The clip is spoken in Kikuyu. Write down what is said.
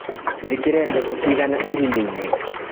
Njĩkĩre mbegũ cigana irimainĩ.